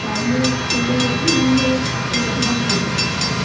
सामने एक टेबल रखी हुई है जो लकड़ी की बनी हुई है।